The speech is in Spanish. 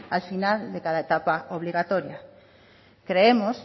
al final de cada etapa obligatoria creemos